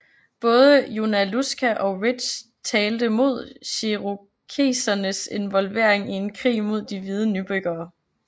Både Junaluska og Ridge talte mod cherokesernes involvering i en krig mod de hvide nybyggere